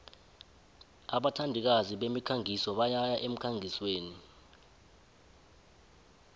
abathandikazi bemikhangiso bayaya emkhangisweni